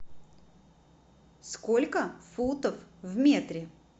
сколько футов в метре